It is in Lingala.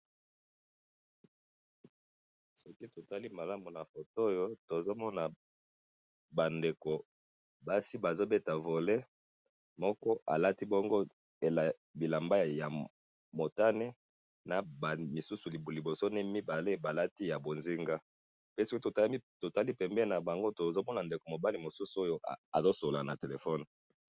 soki totali malamu na photo oyo tozomona ba ndeko basi bazobeta volley moko alati bongo bilamba ya motane na ba misusu liboso mibale balati ya bozinga soki totali pembeni na bango tozomona ndeko mobali mususu oyo azosolola na telephone